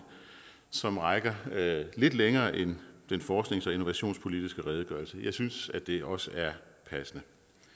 som rækker lidt længere end den forsknings og innovationspolitiske redegørelse jeg synes at det også er passende